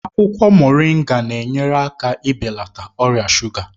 Akwụkwọ Moringa na-enyere aka ibelata ọrịa shuga